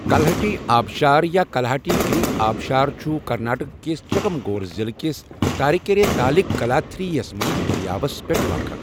کَلہٹی آبشار یا کَلہاٹی گِری آبشارچُھ کَرناٹکِس چِکمَگَلور ضِلُع کِس تاریکیرے تالٗكِ كلاتھیگِری یَس مَنٛز دٔریاوس پٮ۪ٹھ واقَعہ ۔